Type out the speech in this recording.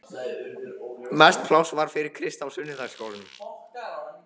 Mest pláss var fyrir Krist í sunnudagaskólanum.